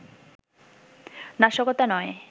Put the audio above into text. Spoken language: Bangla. নাশকতা নয়